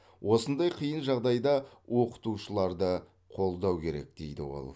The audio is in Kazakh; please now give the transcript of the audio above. осындай қиын жағдайда оқытушыларды қолдау керек дейді ол